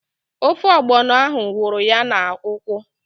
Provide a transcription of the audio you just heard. Ofe ọgbọnọ ahụ wụrụ ya n'ụkwụ